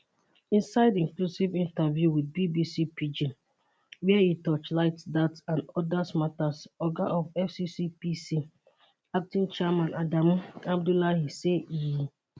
inside exclusive interview with bbc pidgin wia e torchlight dat and oda matas oga of fccpc acting chairman adamu abdullahi say e